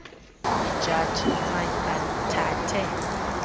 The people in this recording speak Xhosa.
iijaji noomantyi bathathe